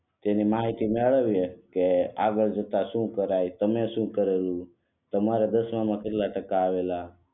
જેની માહિતી મેળવીયે કે આગળ જતા શું કરાય તમે શું કરેલું તમારે દસમા માં કેટલા ટકા આવેલા